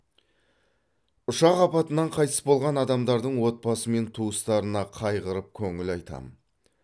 ұшақ апатынан қайтыс болған адамдардың отбасы мен туыстарына қайғырып көңіл айтамын